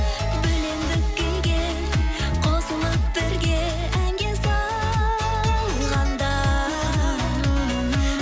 бөлендік күйге қосылып бірге әнге салғанда